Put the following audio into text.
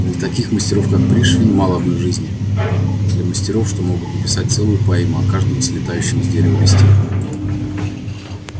для таких мастеров как пришвин мало одной жизни для мастеров что могут написать целую поэму о каждом слетающем с дерева листе